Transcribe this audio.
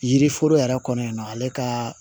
Yiri foro yɛrɛ kɔnɔ yan nɔ ale ka